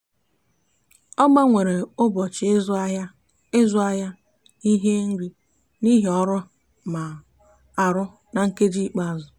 a gbanwere m ụbọchị ịzụ ahịa ịzụ ahịa ihe nri n'ihi ọrụ m na-arụ na nkeji ikpeazụ.